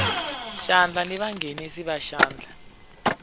xandla na vanghenisi va xandla